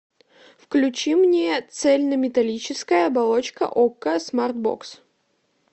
включи мне цельнометаллическая оболочка окко смарт бокс